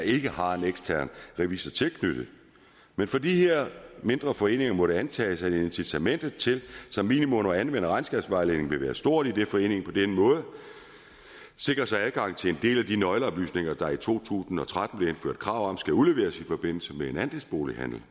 ikke har en ekstern revisor tilknyttet men for de her mindre foreninger må det antages at incitamentet til som minimum at anvende regnskabsvejledningen vil være stort idet foreningen på den måde sikrer sig adgang til en del af de nøgleoplysninger der i to tusind og tretten blev indført krav om skal udleveres i forbindelse med en andelsbolighandel